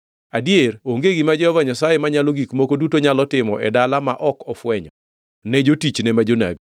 Adier, onge gima Jehova Nyasaye Manyalo Gik Moko Duto nyalo timo e dala ma ok ofwenyo, ne jotichne ma jonabi.